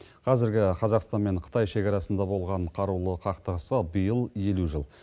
қазіргі қазақстан мен қытай шекарасында болған қарулы қақтығысқа биыл елу жыл